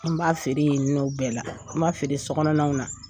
An b'a feere ye nɔ bɛɛ la an b'a feere sokɔnɔw na.